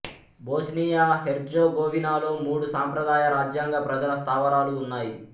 Bosnia హెర్జెగోవినాలో మూడు సంప్రదాయ రాజ్యాంగ ప్రజల స్థావరాలు ఉన్నాయి